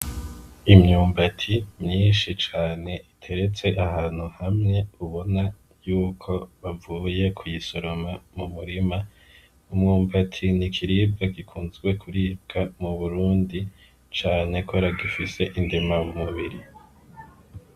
Imyumbati myinshi cane iteretse ahantu hamwe, ubona yuko bavuye ku yisoroma mu murima. Imyumbati ni ikiribwa gikunzwe kuribwa mu Burundi cane kubera gifise indema mubiri.